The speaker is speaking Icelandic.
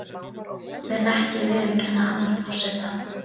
Mun ekki viðurkenna annan forseta